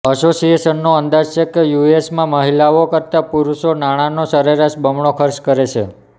અસોસિએશનનો અંદાજ છે કે યુએસમાં મહિલાઓ કરતાં પુરુષો નાણાનો સરેરાશ બમણો ખર્ચ કરે છે